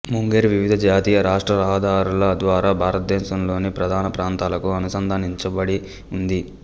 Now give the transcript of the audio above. ముంగేర్ వివిధ జాతీయ రాష్ట్ర రహదారుల ద్వారా భారతదేశంలోని ప్రధాన ప్రాంతాలకు అనుసంధానించబడి ఉంది